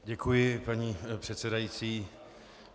Děkuji, paní předsedající.